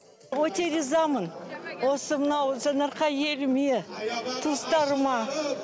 өте ризамын осы мынау жаңаарқа еліме туыстарыма